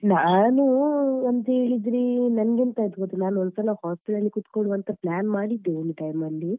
ನಾನು ಅಂತ ಹೇಳಿದ್ರೆ ನನ್ಗೆ ಎಂತ ಆಯ್ತು ಗೊತ್ತಾ hostel ಅಲ್ಲಿ ಕುತ್ಕೊಳುವ ಅಂತ plan ಮಾಡಿದ್ದೆ ಒಂದ್ time ಅಲ್ಲಿ,